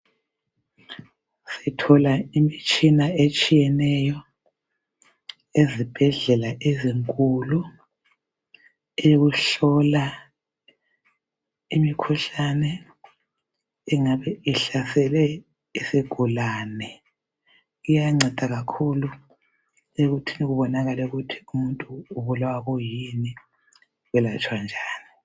Sithola imitshina etshiyeneyo ezibhedlela ezinkulu. Eyokuhlola imikhuhlane angabe ihlasele isigulane. Iyanceda kakhulu ekuthini kubonakale ukuthi umuntu ubulawa kuyini lokuthi welatshwa njani.